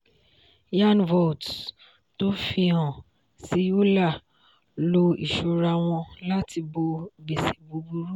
yearn vaults tó fìhan sí euler lò ìṣúra wọn láti bó gbèsè búburú.